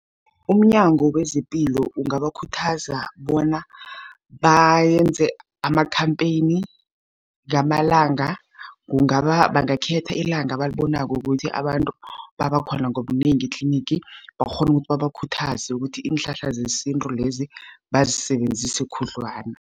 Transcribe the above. UmNyango wezePilo ungabakhuthaza bona bayenze amakhampheyini ngamalanga, bangakhetha ilanga abalibonako ukuthi abantu, babakhona ngobunengi etlinigi, bakghone ukuthi babakhuthaze ukuthi, iinhlahla zesintu lezi bazisebenzise khudlwana.